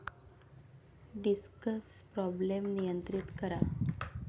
discus problem नियंत्रीत करा